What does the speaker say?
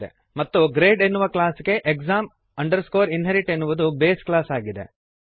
ಮತ್ತು ಗ್ರೇಡ್ ಎನ್ನುವ ಕ್ಲಾಸ್ ಗೆ exam inherit ಎನ್ನುವುದು ಬೇಸ್ ಕ್ಲಾಸ್ ಆಗಿದೆ